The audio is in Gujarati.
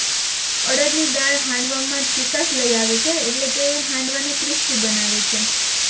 અરદ ની દાળ હાંડવામાં ચિકાસ લઈ આવે છે એટલે તે હાંડવા ને ક્રિસ્પિ બનાવે છે